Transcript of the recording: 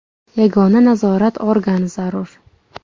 Yagona nazorat organi zarur.